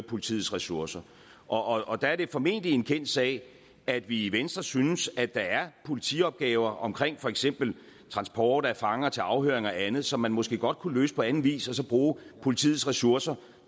politiets ressourcer og og der er det formentlig en kendt sag at vi i venstre synes at der er politiopgaver omkring for eksempel transport af fanger til afhøring og andet som man måske godt kunne løse på anden vis og så bruge politiets ressourcer